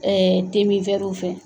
te min fɛ